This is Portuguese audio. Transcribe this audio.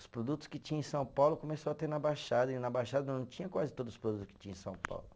Os produtos que tinha em São Paulo começou a ter na Baixada, e na Baixada não tinha quase todos os produtos que tinha em São Paulo.